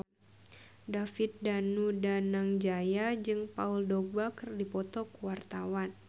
David Danu Danangjaya jeung Paul Dogba keur dipoto ku wartawan